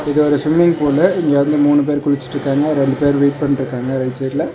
இது ஒரு swimming pool இங்க வந்து மூணு பேர் குளிச்சிடு இருக்காங்க ரெண்டு பேர் வெயிட் பண்ட்ருக்காங்க ரைட் சைடுல .